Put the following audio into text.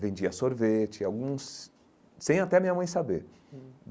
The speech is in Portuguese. Vendia sorvete, alguns... sem até minha mãe saber.